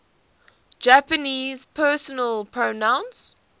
japanese personal pronouns